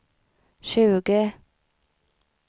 tjugo